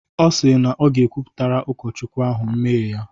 Ọ si na ọ ga-kwupụtara Ụkọchukwu ahụ mmehie ya.